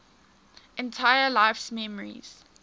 entire life's memories